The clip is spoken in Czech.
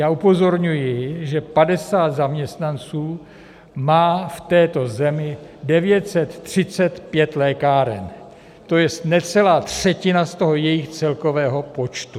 Já upozorňuji, že 50 zaměstnanců má v této zemi 935 lékáren, to jest necelá třetina z toho jejich celkového počtu.